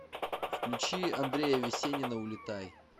включи андрея весенина улетай